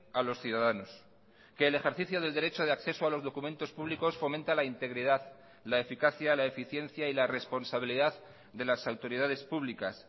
a los ciudadanos que el ejercicio del derecho de acceso a los documentos públicos fomenta la integridad la eficacia la eficiencia y la responsabilidad de las autoridades públicas